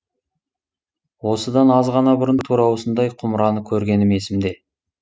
осыдан аз ғана бұрын тура осындай кұмыраны көргенім есімде